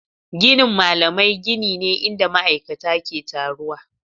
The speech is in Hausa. Ginin malamai gini ne inda ma'aikata ke taruwa.